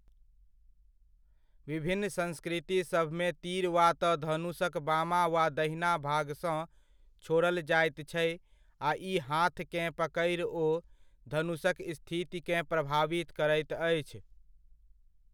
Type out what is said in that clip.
विभिन्न संस्कृति सभमे तीर वा तऽ धनुषक बामा वा दहिना भागसँ छोड़ल जाइत छै आ ई हाथकेँ पकड़ि ओ धनुषक स्थितिकेँ प्रभावित करैत अछि।